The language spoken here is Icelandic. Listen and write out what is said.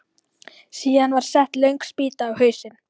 Síðan var sett löng spýta á hausinn.